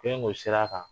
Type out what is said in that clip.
Fɛn ko sira kan